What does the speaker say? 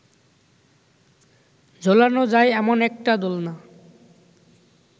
ঝোলানো যায় এমন একটা দোলনা